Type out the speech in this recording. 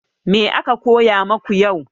Me aka koya maku yau?